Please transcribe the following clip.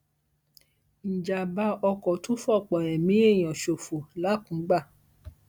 ìjàḿbà oko tún fọpọ ẹmí èèyàn ṣòfò làkùngbà